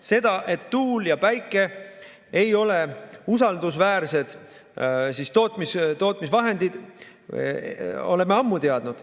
Seda, et tuul ja päike ei ole usaldusväärsed tootmisvahendid, oleme ammu teadnud.